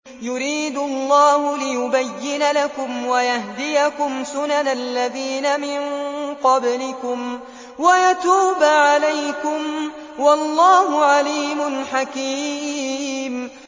يُرِيدُ اللَّهُ لِيُبَيِّنَ لَكُمْ وَيَهْدِيَكُمْ سُنَنَ الَّذِينَ مِن قَبْلِكُمْ وَيَتُوبَ عَلَيْكُمْ ۗ وَاللَّهُ عَلِيمٌ حَكِيمٌ